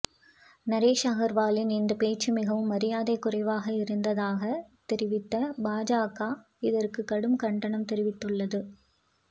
நரேஷ் அகர்வாலின் இந்த பேச்சு மிகவும் மரியாதை குறைவாக இருந்ததாக தெரிவித்த பாஜக இதற்கு கடும் கண்டனம் தெரிவித்துள்ளது